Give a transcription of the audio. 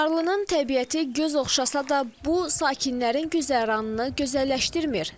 Çınarlının təbiəti göz oxşasa da, bu sakinlərin güzəranını gözəlləşdirmir.